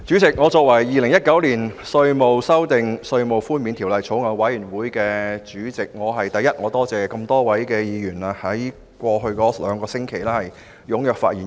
主席，作為《2019年稅務條例草案》委員會主席，我首先感謝這麼多位議員在過去兩星期踴躍發言。